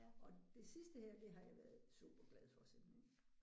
Og det sidste her det har jeg været super glad for simpelthen